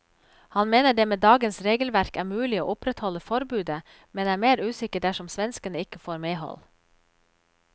Han mener det med dagens regelverk er mulig å opprettholde forbudet, men er mer usikker dersom svenskene ikke får medhold.